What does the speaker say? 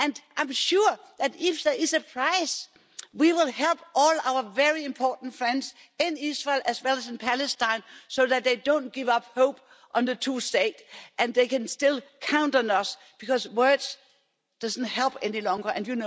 I'm sure that, if there is a price, we will help all our very important friends in Israel, as well as in Palestine, so that they don't give up hope on the two states and they can still count on us, because words no longer help.